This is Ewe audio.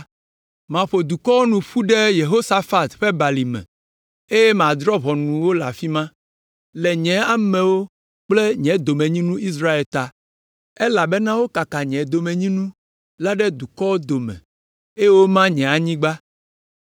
maƒo dukɔwo nu ƒu ɖe Yehosafat ƒe Balime eye madrɔ̃ ʋɔnu wo le afi ma le nye amewo kple nye domenyinu Israel ta, elabena wokaka nye domenyinu la ɖe dukɔwo dome eye woma nye anyigba.